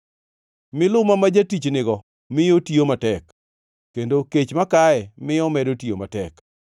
Miluma ma jatich nigo miyo otiyo matek, kendo kech makaye miyo omedo tiyo matek.